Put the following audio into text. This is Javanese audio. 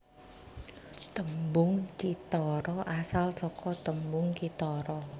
Tembung cithara asal saka tembung kithara